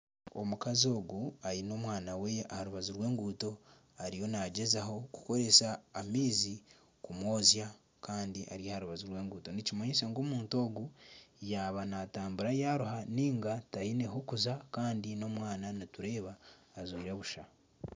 Omukazi ogu aine omwana we aha rubaju rw'enguuto ariyo nagyezaho kukoresa amaizi kumunabisa kandi ari aha rubaju rw'enguuto nikimanyisa ngu omuntu ogu yaaba natambura yaruha niga taine hokuza kandi n'omwana nitureeba ajwaire busha.